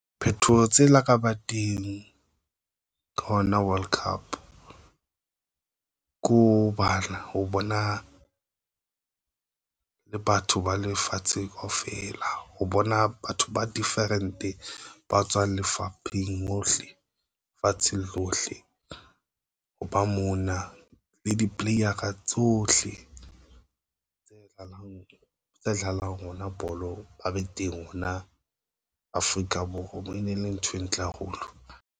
Phethoho tse laka teng ka oula World Cup ko bana ho bona le batho ba lefatsheng kaofela ho bona batho ba different ba tswa lefapheng hohle fatsheng lohle, ho ba mona le di. Player a tsohle tse tlalang tse tholahalang, rona bolo ba be teng mona Afrika Borwa. Mo e ne le ntho e ntle haholo.